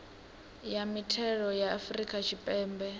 ya mithelo ya afrika tshipembe